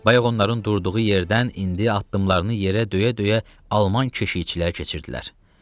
Bayaq onların durduğu yerdən indi addımlarını yerə döyə-döyə alman keşiyçilər keçirdilər.